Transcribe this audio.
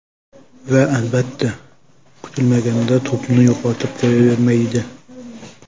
Va, albatta, kutilmaganda to‘pni yo‘qotib qo‘yavermaydi.